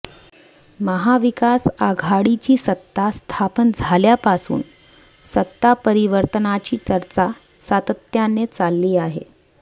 महाविकास आघाडीची सत्ता स्थापन झाल्यापासून सत्तापरिवर्तनाची चर्चा सातत्याने चालली आहे